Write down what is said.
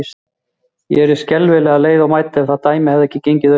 Ég yrði alveg skelfilega leið og mædd, ef það dæmi hefði ekki gengið upp.